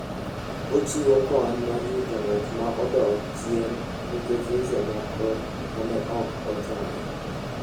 Ochiwo kony mar rito ng'at ma odok chien nikech weche moko ma ne ok ochan.